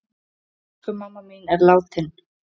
Elsku mamma mín er látin.